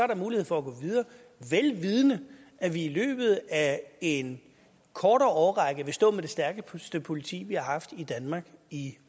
der mulighed for at gå videre vel vidende at vi i løbet af en kortere årrække vil stå med det stærkeste politi vi har haft i danmark i